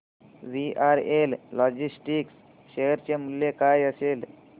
VRL logistics share चे मूल्य काय असेल